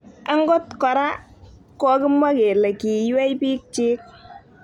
Angot kora kokimwaa kole kiiywei piik. chiik